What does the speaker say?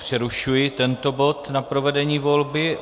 Přerušuji tento bod na provedení volby.